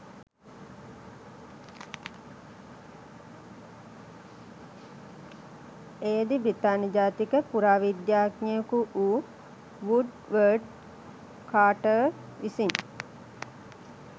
එයදී බ්‍රිතාන්‍ය ජාතික පුරාවිද්‍යාඥයකු වූ වුඩ්වර්ඩ් කාර්ටර් විසින්